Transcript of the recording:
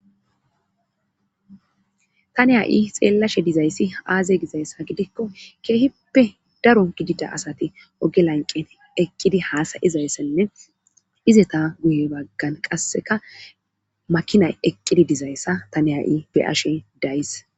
Ta ne a7i xeellashe dizayssi aaze gizayssa gidikko keehippe daro gidida asati oge lanqet eqqidi haasayizayssenne izeta guye baggan qasseka makinay eqqidi dizayssa ta neha7i beyashe days.